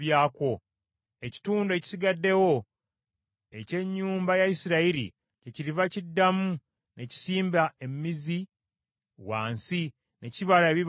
Ekitundu ekisigaddewo eky’ennyumba ya Isirayiri kyekiriva kiddamu ne kisimba emizi wansi, ne kibala ebibala waggulu.